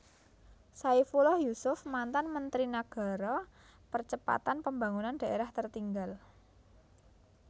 Saifullah Yusuf mantan Menteri Nagara Percepatan Pembangunan Daerah Tertinggal